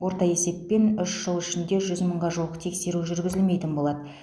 орта есеппен үш жыл ішінде жүз мыңға жуық тексеру жүргізілмейтін болады